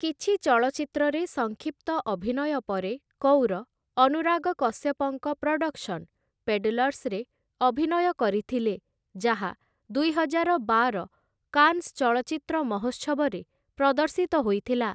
କିଛି ଚଳଚ୍ଚିତ୍ରରେ ସଂକ୍ଷିପ୍ତ ଅଭିନୟ ପରେ କୌର ଅନୁରାଗ କଶ୍ୟପଙ୍କ ପ୍ରଡକ୍ସନ ପେଡଲର୍ସରେ ଅଭିନୟ କରିଥିଲେ, ଯାହା ଦୁଇହଜାର ବାର କାନ୍ସ ଚଳଚ୍ଚିତ୍ର ମହୋତ୍ସବରେ ପ୍ରଦର୍ଶିତ ହୋଇଥିଲା ।